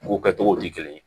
Ko kɛcogo tɛ kelen ye